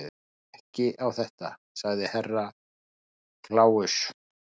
Mér líst ekki á þetta, sagði Herra Kláus.